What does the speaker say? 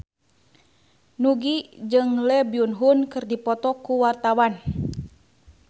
Nugie jeung Lee Byung Hun keur dipoto ku wartawan